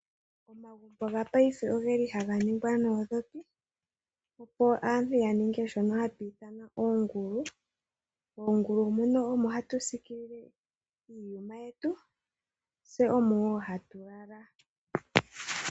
Omagumbo gopaife ogeli haga ningwa noondhopi, opo aantu ya ninge shono hashi ithanwa oongulu. Moongulu muno omo hatu siikilile iiyuma yetu, tse omo wo hatu lala.